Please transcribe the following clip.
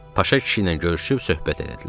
Paşa kişi ilə görüşüb söhbət etdilər.